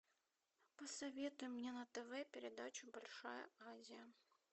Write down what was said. посоветуй мне на тв передачу большая азия